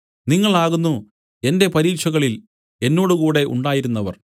നിങ്ങൾ ആകുന്നു എന്റെ പരീക്ഷകളിൽ എന്നോടുകൂടെ ഉണ്ടായിരുന്നവർ